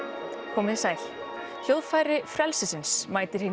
komið þið sæl hljóðfæri frelsisins mætir hinni